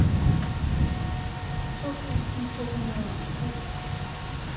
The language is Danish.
to tusind to hundrede og tre